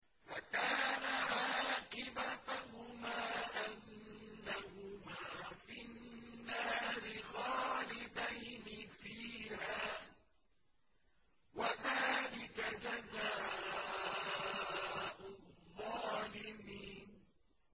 فَكَانَ عَاقِبَتَهُمَا أَنَّهُمَا فِي النَّارِ خَالِدَيْنِ فِيهَا ۚ وَذَٰلِكَ جَزَاءُ الظَّالِمِينَ